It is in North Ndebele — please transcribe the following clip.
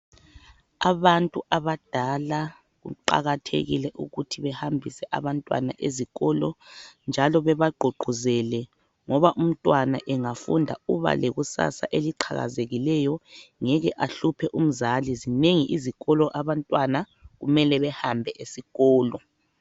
Abantu abadala kuqakathekile ukuthi behambise abantwana ezikolo njalo bebagqugquzele ngoba umntwana engafunda uba lekusasa eliqhakazekileyo ngeke ahluphe umzali, zinengi izikolo abantwana kumele behambe esikolo.